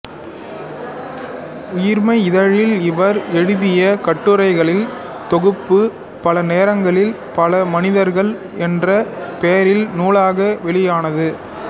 உயிர்மை இதழில் இவர் எழுதிய கட்டுரைகளின் தொகுப்பு பல நேரங்களில் பல மனிதர்கள் என்ற பெயரில் நூலாக வெளியானது